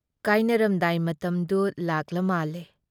ꯀꯥꯏꯅꯔꯝꯗꯥꯏ ꯃꯇꯝꯗꯨ ꯂꯥꯛꯂꯃꯥꯜꯂꯦ꯫